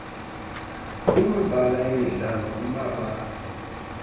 kumabala emidlalo kumabala